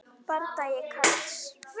Bardagi Karls